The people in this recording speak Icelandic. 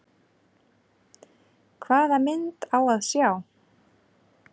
Hvaða mynd á að sjá?